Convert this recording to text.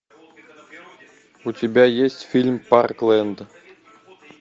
у тебя есть фильм парклэнд